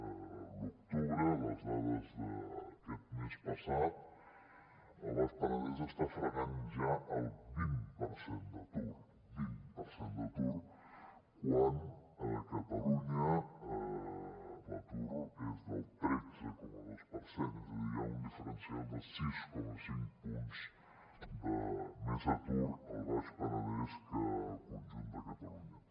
a l’octubre les dades d’aquest mes passat el baix penedès està fregant ja el vint per cent d’atur vint per cent d’atur quan a catalunya l’atur és del tretze coma dos per cent és a dir hi ha un diferencial de sis coma cinc punts de més atur al baix penedès que al conjunt de catalunya